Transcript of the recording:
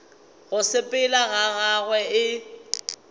go sepela ga gagwe e